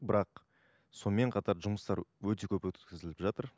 бірақ сонымен қатар жұмыстар өте көп өткізіліп жатыр